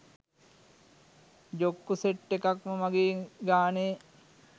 ජොක්කු set එකක්ම මගේ ගානේ